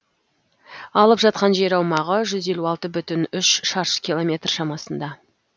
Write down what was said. алып жатқан жер аумағы жүз елу алты бүтін үш шаршы километр шамасында